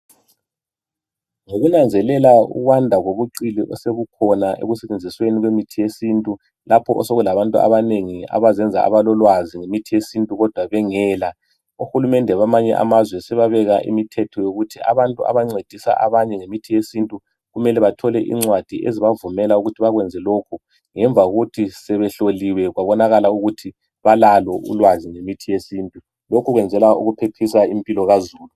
Ngokunanzelala ukwanda kobuqili osobukhona ekusebenziseni imithi yesintu lapha osokulabantu abanengi abazenza abalolwazi ngomuthi yesintu kodwa bengela uhulumede wakwamanye amazwe sebabeka imithetho yokuthi abantu abancedisa abanye ngemithi yesintu kumele bathole incwadi ezibavumela ukuthi bakwenze lokhu ngemva lokuthi sebehloliwe babona ukuthi balalo ulwazi ngemithi yesintu lokhu kwenzelwa ukuphephisa impilo kazulu